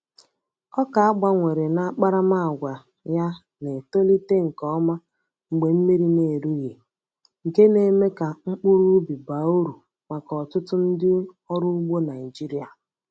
Ọka a gbanwere n’akparamàgwà ya na-etolite nke ọma mgbe mmiri na-erughị, nke na-eme ka mkpụrụ ubi baa uru maka ọtụtụ ndị ọrụ ugbo Naịjirịa.